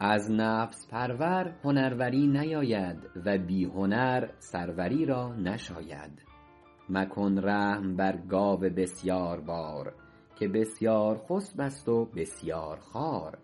از نفس پرور هنروری نیاید و بی هنر سروری را نشاید مکن رحم بر گاو بسیاربار که بسیارخسب است و بسیارخوار